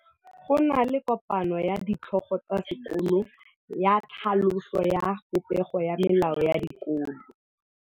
Go na le kopanô ya ditlhogo tsa dikolo ya tlhaloso ya popêgô ya melao ya dikolo.